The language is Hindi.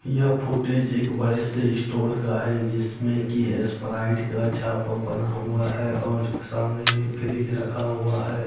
यह फोटेज एक बड़े से इस्टोर का है जिसमें की एस्पराइट का छापा बना हुआ है और सामने में फ्रिज रखा हुआ है।